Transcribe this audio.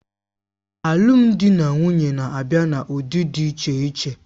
Alụmdi na nwunye na-abịa n'ụdị dị iche iche